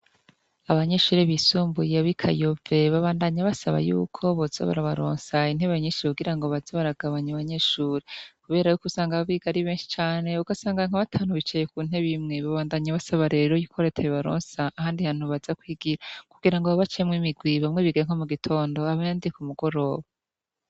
abanyeshure bisumbuye bikayove babandanya basaba y'uko bozo barabaronsa intebe nyishi kugirango baza baragabanye abanyeshure kubera y'ukusanga aba bigari benshi cane ugasanga nka batanu bicaye kuntebe imwe babandanye basaba rero yuko reta yobaronsa ahandi hantu baja kwigira kugira ngo babacemwo imigwi bamwe bige nko mu gitondo abandi mugoroba